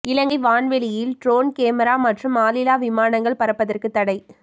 இலங்கை வான்வெளியில் drone camera மற்றும் ஆளில்லா விமானங்கள் பறப்பதற்கு தடை